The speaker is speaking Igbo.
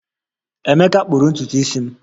Emeka kpụrụ ntutu isi m